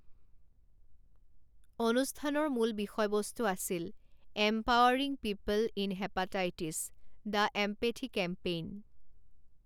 অনুষ্ঠানৰ মূল বিষয়বস্তু আছিল empowering people in hepatitis the empathy campaign.